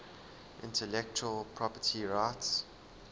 intellectual property rights